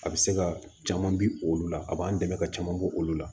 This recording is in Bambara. A bɛ se ka caman bi olu la a b'an dɛmɛ ka caman bo olu la